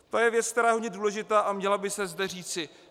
To je věc, která je hodně důležitá a měla by se zde říci.